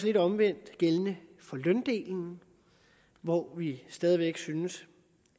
lidt omvendte gældende for løndelen hvor vi stadig væk synes